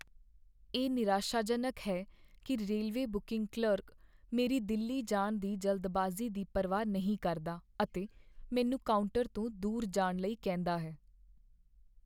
ਇਹ ਨਿਰਾਸ਼ਾਜਨਕ ਹੈ ਕੀ ਰੇਲਵੇ ਬੁਕੀੰਗ ਕਲਰਕ ਮੇਰੀ ਦਿੱਲੀ ਜਾਣ ਦੀ ਜਲਦਬਾਜ਼ੀ ਦੀ ਪਰਵਾਹ ਨਹੀਂ ਕਰਦਾ ਅਤੇ ਮੈਨੂੰ ਕਾਊਂਟਰ ਤੋਂ ਦੂਰ ਜਾਣ ਲਈ ਕਹਿੰਦਾ ਹੈ।